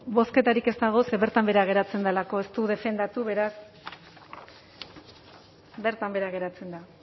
bozketarik ez dago ze bertan behera geratzen delako ez du defendatu beraz bertan behera geratzen da